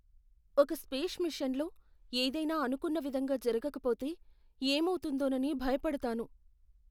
ఒక స్పేస్ మిషన్లో ఏదైనా అనుకున్న విధంగా జరగకపోతే ఏమవుతుందోనని భయపడతాను.